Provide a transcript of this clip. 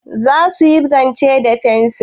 Za su yi zane da fensir?